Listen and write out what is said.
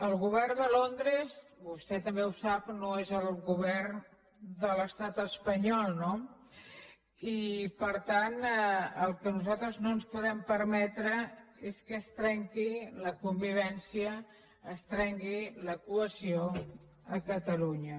el govern de londres vostè també ho sap no és el govern de l’estat espanyol no i per tant el que nosaltres no ens podem permetre és que es trenqui la convivència es trenqui la cohesió a catalunya